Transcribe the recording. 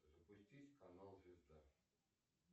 запустить канал звезда